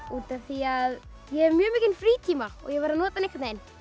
út af því að ég hef mjög mikinn frítíma og ég verð að nota hann einhvern veginn